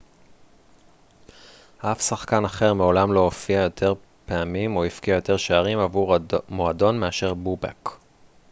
אף שחקן אחר מעולם לא הופיע יותר פעמים או הבקיע יותר שערים עבור המועדון מאשר בובק